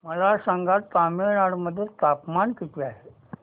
मला सांगा तमिळनाडू मध्ये तापमान किती आहे